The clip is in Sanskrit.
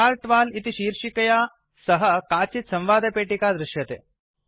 चार्ट् वॉल इति शीर्षिकया सह काचित् संवादपेटिका दृश्यते